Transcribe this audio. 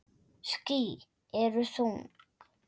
Ský eru þung.